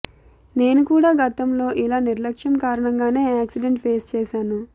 నేను కూడా గతంలో ఇలా నిర్లక్ష్యం కారణంగానే యాక్సిడెంట్ ఫేస్ చేశాను